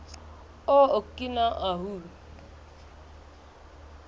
o okina ahu